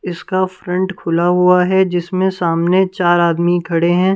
इसका फ्रंट खुला हुआ है जिसमें सामने चार आदमी खड़े हैं ।